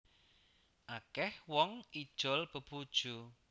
Akeh wong ijol bebojo